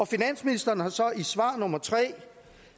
finansministeren har så i svar nummer tre